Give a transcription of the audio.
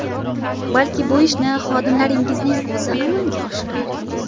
Balki bu ishni xodimlaringizning o‘zi amalga oshirar?